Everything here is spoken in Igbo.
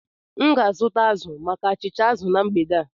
M ga-azụta azụ maka achịcha azụ na mgbede a